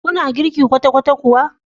Kuna girki kwata-kwata kuwa?